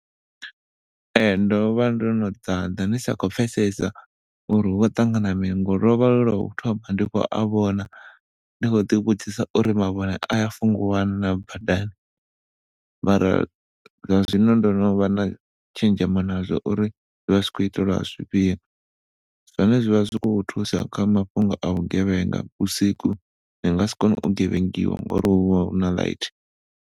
Ehe, ndo vha ndo no ḓaḓa ndi sa khou pfesesa uri hu khou ṱangana mini ngauri lo vha lwu lwa thoma ndi khou a vhona. Ndi khou ḓi vhudzisa uri mavhone aya fungiwa na badani mara zwa zwino ndo no vha na tshenzhemo na zwo uri zwi vha zwi khou itelwa zwifhio zwone zwi vha zwi kho thusa kha mafhungo a vhugevhenga vhusiku nga si kone u gevhengiwa ngauri hu vha huna light.